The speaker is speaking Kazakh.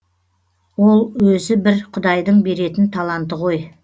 ол өзі бір құдайдың беретін таланты ғой